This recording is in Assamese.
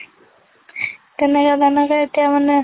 তেনেকে তেনেকে এতিয়া মানে